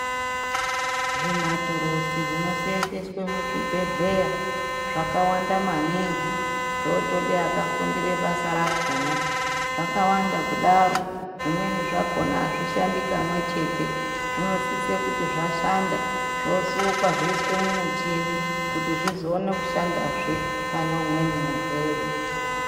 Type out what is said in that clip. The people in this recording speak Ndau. Zvimaturuzi zvinosee0nzewa muzvibhedhleya zvakawanda maningi. Zvotoda akafundira basa rakhona. Zvakawanda kudaro zvimweni zvakhona azvishandi pamwechete. Zvinosisa kuti zvashanda zvosukwa zvoiswa mumuchini kuti zvizoona kushanda zve pane umweni murwere.